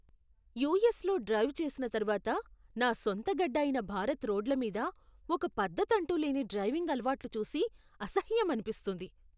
యుఎస్లో డ్రైవ్ చేసిన తరువాత, నా సొంత గడ్డ అయిన భారత్ రోడ్ల మీద ఒక పద్ధతంటూ లేని డ్రైవింగ్ అలవాట్లు చూసి అసహ్యం అనిపిస్తుంది.